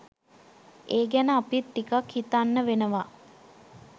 ඒ ගැන අපිත් ටිකක් හිතන්න වෙනවා